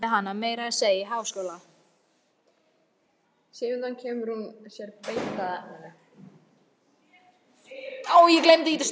Pabbi lærði hana meira að segja í háskóla.